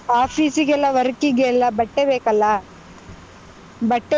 Office ಗೆಲ್ಲಾ work ಗೆಲ್ಲಾ ಬಟ್ಟೆ ಬೇಕಲ್ಲಾ, ಬಟ್ಟೆ.